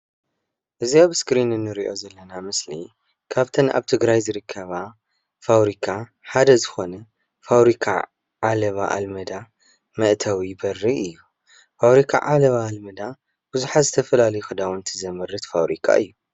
እዚ ኣብ እስክሪን እንሪኦ ዘለና ምስሊ ካብተን ኣብ ትግራይ ዝርከባ ፋብሪካ ሓደ ዝኾነ ፋብሪካ ዓለባ ኣልመዳ መእተዊ በሪ እዩ፡፡ ፋብሪካ ዓለባ ኣልመዳ ቡዙሓት ዝተፈላለዩ ክዳዉንቲ ዘምርት ፋብሪካ እዩ፡፡